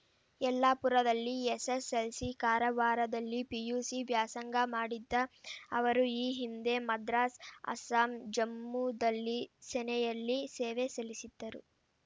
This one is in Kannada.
ಯಲ್ಲಾಪುರದಲ್ಲಿ ಎಸ್ಸೆಸ್ಸೆಲ್ಸಿ ಕಾರವಾರದಲ್ಲಿ ಪಿಯುಸಿ ವ್ಯಾಸಂಗ ಮಾಡಿದ್ದ ಅವರು ಈ ಹಿಂದೆ ಮದ್ರಾಸ್‌ ಅಸ್ಸಾಂ ಜಮ್ಮುದಲ್ಲಿ ಸೆನೆಯಲ್ಲಿ ಸೇವೆ ಸಲ್ಲಿಸಿದ್ದರು